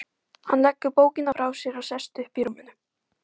Hann leggur bókina frá sér og sest upp í rúminu.